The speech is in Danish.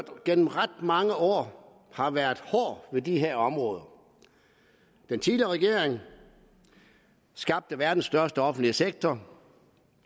gennem ret mange år har været hård ved de her områder den tidligere regering skabte verdens største offentlige sektor